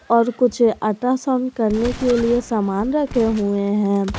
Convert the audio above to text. और कुछ अल्ट्रासाउंड करने के लिए समान रखे हुए हैं।